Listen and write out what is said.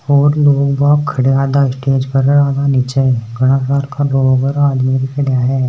और लोग बाग खड़ा है आधा स्टेज पर आधा नीच घणा सरका लोग आदमी खड़ा है।